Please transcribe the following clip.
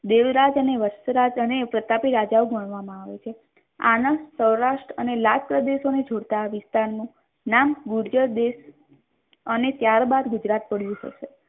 દેવરાજ અને વછરાજ અને પ્રતાપી રાજાઓ ગણવામાં આવે છે. આણંદ સૌરાષ્ટ્ર અને લાજ પ્રદેશોને જોડતા વિસ્તારનું નામ ગુર્જર દેશ અને ત્યારબાદ ગુજરાત પડ્યું હશે.